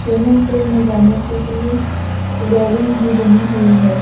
Swimming pool में जाने के लिए रेलिंग भी बनी हुई है।